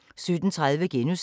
DR K